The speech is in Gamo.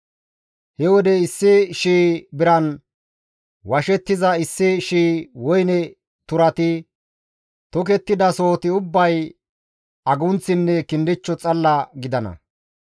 He wode issi shii biran washettiza issi shii woyne turati tokettidasohoti ubbay agunththinne kindichcho xalla gidana.